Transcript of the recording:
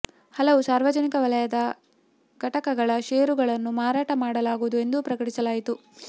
ಹಲವು ಸಾರ್ವಜನಿಕ ವಲಯದ ಘಟಕಗಳ ಶೇರುಗಳನ್ನು ಮಾರಾಟ ಮಾಡಲಾಗುವುದು ಎಂದೂ ಪ್ರಕಟಿಸಲಾಯಿತು